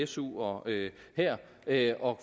su og det her at